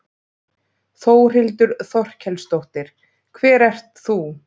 Þórhildur Þorkelsdóttir: Hver ert þú?